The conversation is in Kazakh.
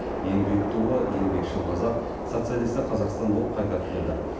еңбек туы еңбекшіл қазақ социалистік қазақстан болып қайта түледі